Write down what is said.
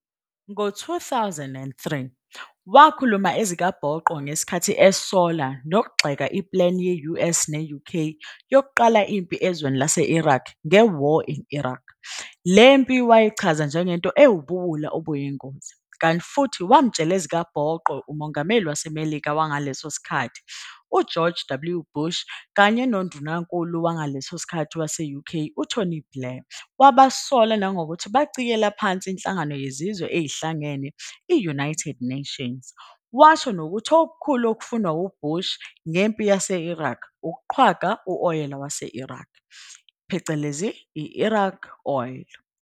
Ngo 2003, wakhuluma ezikabhoqo ngesikhathi esola nokugxeka iplani ye-US ne-UK yokuqala impi ezweni lase-Iraq nge-War in Iraq, le mpi wayechaza njengento ewubuwula obuyingozi, kanti futhi wamtshela ezikabhoqo uMongameli waseMelika wangaleso sikhathi u-George W. Bush kanye noNdunankulu wangaleso sikhathi wase-UK u-Tony Blair wabasola nangokuthi bacikela phansi inhlangano yeziwe ezihlangane i-UN, washo nokuthi okukhulu okufunwa ngu-Bush ngempi yase-Iraq ukuqhwaga i-oyela yase-Iraqs, Iraqi oil.